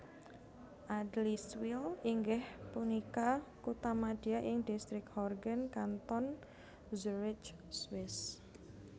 Adliswil inggih punika kuthamadya ing Distrik Horgen Kanton Zurich Swiss